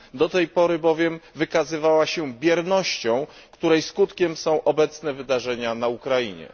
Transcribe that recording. Do tej pory bowiem wykazywała się biernością, której skutkiem są obecne wydarzenia na Ukrainie.